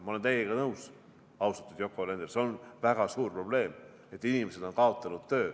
Ma olen teiega nõus, austatud Yoko Alender, see on väga suur probleem, et inimesed on kaotanud töö.